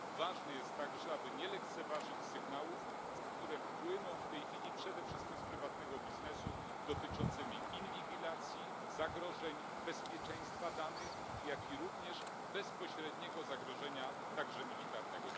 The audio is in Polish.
Ważne jest także, aby nie lekceważyć sygnałów, które płyną w tej chwili przede wszystkim z prywatnego biznesu, dotyczącymi inwigilacji, zagrożeń bezpieczeństwa danych, jak również bezpośredniego zagrożenia militarnego.